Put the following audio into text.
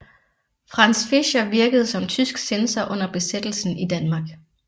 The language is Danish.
Franz Fischer virkede som tysk censor under Besættelsen i Danmark